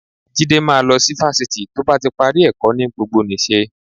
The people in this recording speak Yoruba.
Jídé máa lọ sí fásitì tó bá ti parí ẹ̀kọ́ ní gbogbonìṣe